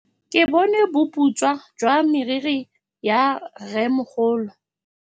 Ke bone boputswa jwa meriri ya rrêmogolo.